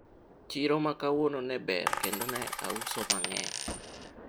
soko ya leo ilikuwa nzuri tena niliuza sana